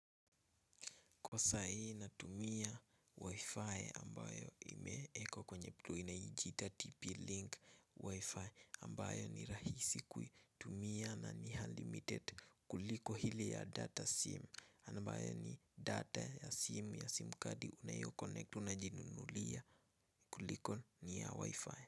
Kwa saa hii natumia wifi ambayo imewekwa kwenye inajiita TP link wifi ambayo ni rahisi kuitumia na ni unlimited kuliko ile ya data sim ambayo ni data ya sim ya sim kadi unayoconnect unajinunulia kuliko ni ya wifi.